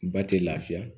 Ba tɛ lafiya